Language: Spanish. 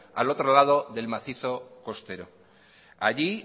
al otro lado del macizo costero allí